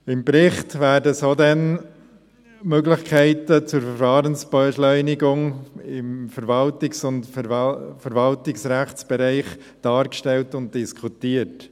Im Bericht werden so denn Möglichkeiten zur Verfahrensbeschleunigung im Verwaltungs- und Verwaltungsrechtsbereich dargestellt und diskutiert.